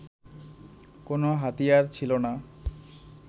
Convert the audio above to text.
কোনো হাতিয়ার ছিল না